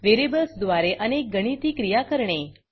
व्हेरिएबल्सद्वारे अनेक गणिती क्रिया करणे